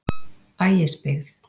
Ægisbyggð